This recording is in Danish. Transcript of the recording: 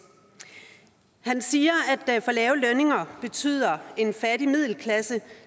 han siger at for lave lønninger betyder en fattig middelklasse